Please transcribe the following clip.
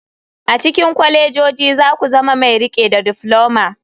A cikin kwalejoji za ku zama mai riƙe da difloma.